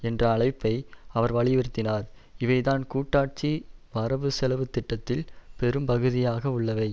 என்ற அழைப்பை அவர் வலியுறுத்தினார் இவைதான் கூட்டாட்சி வரவுசெலவு திட்டத்தில் பெரும்பகுதியாக உள்ளவை